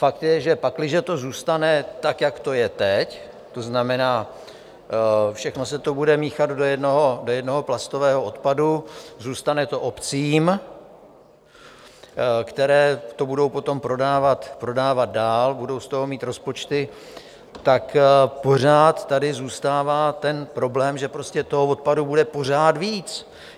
Fakt je, že pakliže to zůstane tak, jak to je teď, to znamená, všechno se to bude míchat do jednoho plastového odpadu, zůstane to obcím, které to budou potom prodávat dál, budou z toho mít rozpočty, tak pořád tady zůstává ten problém, že prostě toho odpadu bude pořád víc.